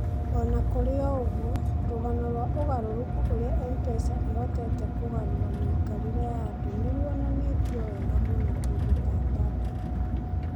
O na kũrĩ ũguo, rũgano rwa ũgarũrũku ũrĩa M-PESA ĩhotete kũgarũra mĩikarĩre ya andũ nĩ rũonanĩtio wega mũno kũndũ ta Daadab.